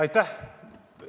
Aitäh!